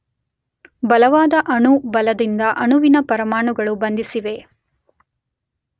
ಬಲವಾದ ಅಣು ಬಲದಿಂದ ಅಣುವಿನ ಪರಮಾಣುಗಳು ಬಂಧಿಸಿವೆ.